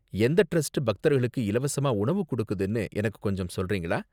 எந்த ட்ரஸ்ட் பக்தர்களுக்கு இலவசமா உணவு கொடுக்குதுனு எனக்கு கொஞ்சம் சொல்றீங்களா?